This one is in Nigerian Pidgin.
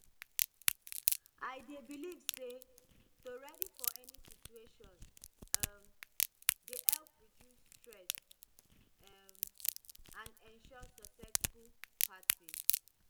i dey believe say to ready for any situation um dey help reduce stress um and ensure successful party